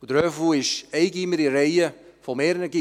Der «Höfu» ist ein Gymnasium in der Reihe mehrerer Gymnasien.